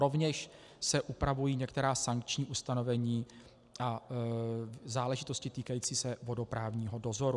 Rovněž se upravují některá sankční ustanovení a záležitosti týkající se vodoprávního dozoru.